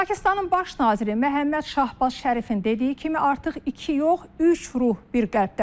Pakistanın baş naziri Məhəmməd Şahbaz Şərifin dediyi kimi artıq iki yox, üç ruh bir qəlbdədir.